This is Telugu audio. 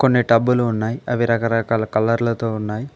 కొన్ని టబ్బు లు ఉన్నాయి అవి రకరకాల కలర్ లతో ఉన్నాయి.